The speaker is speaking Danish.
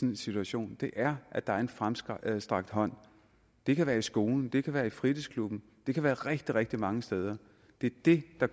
en situation er at der er en fremstrakt hånd det kan være i skolen og det kan være i fritidsklubben det kan være rigtig rigtig mange steder det er det der